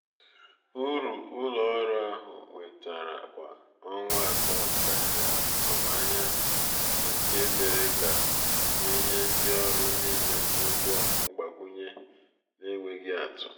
uru ụlọ ọrụ ahụ nwetara kwa ọnwa atọ karịrị atụmanya nke mere ka a nye ndị ọrụ niile ụgwọ mgbakwunye n’enweghị atụ.